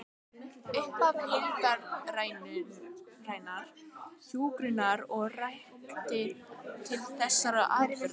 Upphaf heildrænnar hjúkrunar er rakið til þessara atburða.